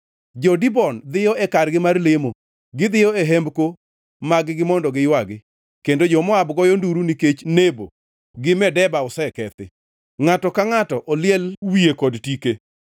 Jo-Dibon dhiyo e kargi mar lemo, gidhiyo e hembko mag-gi mondo giywagi; kendo jo-Moab goyo nduru nikech Nebo gi Medeba osekethi. Ngʼato ka ngʼato oliel wiye kod tike.